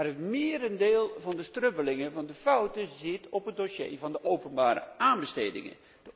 Het merendeel van de strubbelingen, van de fouten, zit in het dossier van de openbare aanbestedingen.